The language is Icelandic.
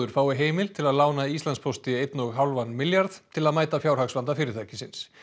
fái heimild til að lána Íslandspósti einn og hálfan milljarð til að mæta fjárhagsvanda fyrirtækisins